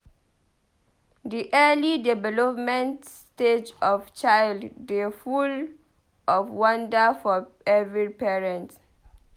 Di early development stage of child dey full of wonder for every parent.